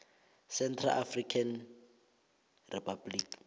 central african republic